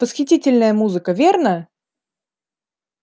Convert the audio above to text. восхитительная музыка верно